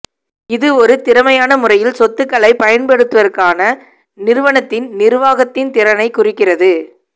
இது ஒரு திறமையான முறையில் சொத்துக்களைப் பயன்படுத்துவதற்கான நிறுவனத்தின் நிர்வாகத்தின் திறனைக் குறிக்கின்றது